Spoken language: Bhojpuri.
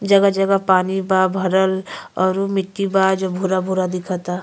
जगह जगह पानी बा भरल औरु मिट्टी बा जो भूरा भूरा दिखता।